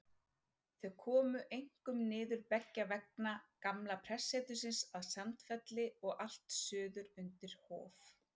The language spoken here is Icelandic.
Þau komu einkum niður beggja vegna gamla prestsetursins að Sandfelli og allt suður undir Hof.